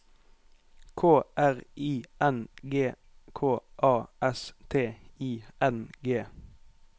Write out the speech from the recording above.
K R I N G K A S T I N G